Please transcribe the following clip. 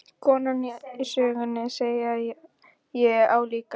Konan í sögunni, segi ég álíka pirruð.